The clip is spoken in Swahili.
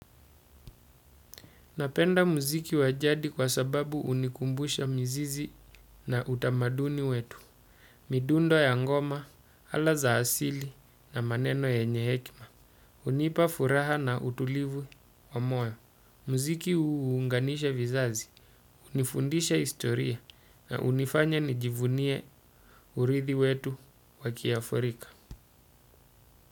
Napenda muziki wajadi kwa sababu unikumbusha mzizi na utamaduni wetu, midundo ya ngoma, alaza asili na maneno yenye hekima. Unipa furaha na utulivu wa moyo. Mziki uunganisha vizazi, unifundisha istoria na unifanya nijivunie urithi wetu wakiaforika.